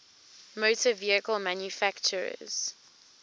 motor vehicle manufacturers